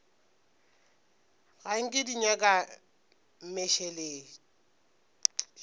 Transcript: ga nke di nyaka mmešelet